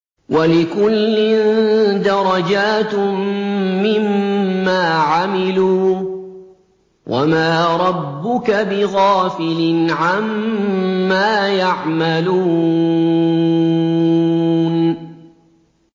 وَلِكُلٍّ دَرَجَاتٌ مِّمَّا عَمِلُوا ۚ وَمَا رَبُّكَ بِغَافِلٍ عَمَّا يَعْمَلُونَ